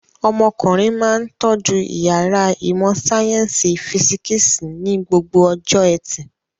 Ọmọkùnrin máa ń tọ́jú ìyàrá ìmọ̀-sáyẹ́ńsì físíkísì ní gbogbo ọjọ́ ẹtì.